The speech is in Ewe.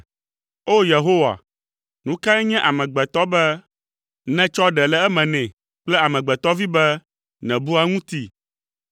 O! Yehowa, nu kae nye amegbetɔ be nètsɔ ɖe le eme nɛ kple amegbetɔvi be nèbua eŋuti?